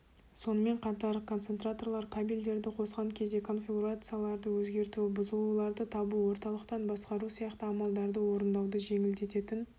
сонымен қатар концентраторлар кабельдерді қосқан кезде конфигурацияларды өзгерту бұзылуларды табу орталықтан басқару сияқты амалдарды орындауды жеңілдететін